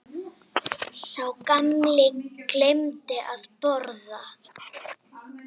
Sá gamli gleymdi að borga.